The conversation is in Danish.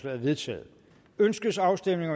er vedtaget ønskes afstemning